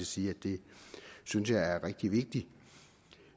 sige at det synes jeg er rigtig vigtigt